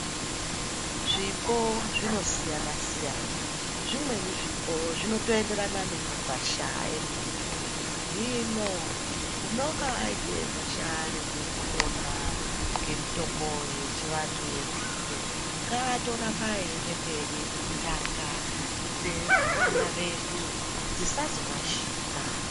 Zvipo zvinosiyana-siyana, zvimweni zvipo zvinotoenderana nemagwasha emuntu. Hino unonga aite gwasha rekupona ngemitombo yechivantu yenzinde ngaatoramba eiende mberi kuti ndaka dzevana vedu dzisazorashika.